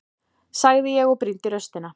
sagði ég og brýndi raustina.